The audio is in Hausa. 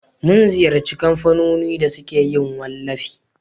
mun ziyarci kamfanoni da suke yin wallafi